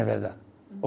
É verdade.